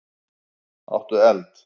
Áttu eld?